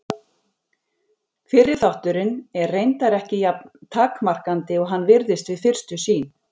Fyrri þátturinn er reyndar ekki jafn takmarkandi og hann virðist við fyrstu sýn.